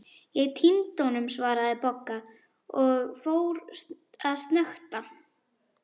Ég týndi honum svaraði Bogga og fór að snökta.